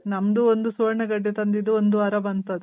ನಮ್ದು ಒಂದು ಸುವರ್ಣ ಗಡ್ಡೆ ತಂದಿದ್ದು ಒಂದ್ ವಾರ ಬಂತದು.